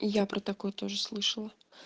и я про такое тоже слышала